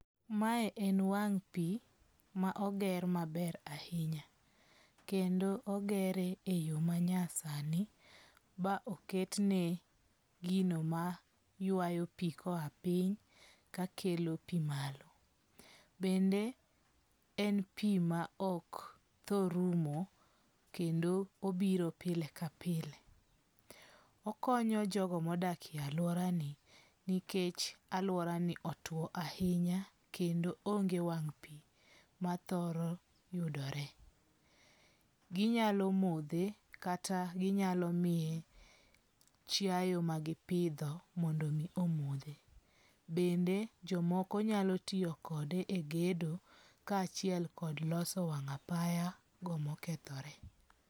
Mae en wang' pi ma oger maber ahinya. Kendo ogere e yo manyasani ma oketne gino ma ywayo pi koa piny kakelo pi malo. Bende en pi ma ok tho rumo kendo obiro pile ka pile. Okonyo jogo modakie aluora ni nikech aluora ni otuo ahinya kendo onge wang' pi ma thoro yudore. Ginyalo modhe kata ginyalo miye chiaye magipidho mondo omi omodhe. Bende jomoko nyalotiyokode e gedo ka achiel kod loso wang' apayago mokethore.